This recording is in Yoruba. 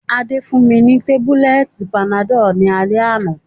Adé fún mi ni tábúlẹ̀tì panadọ́l ní alẹ́ àná